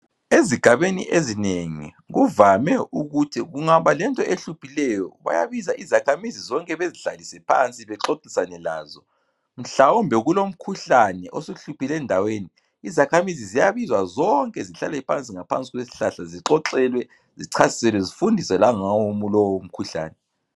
Ezigabeni ezinengi kuvame ukuthi kungaba lento ehluphileyo bayabiza izakhamizi zonke bezihlalise phansi bexoxisane lazo. Mhlawumbe kulomkhuhlane osuhluphile endaweni, izakhamizi ziyabizwa zonke zihlale phansi ngaphansi kweshlahla zixoxolwe, zichasiselwe, zifundiswe langawo umu lowo mkhuhlan.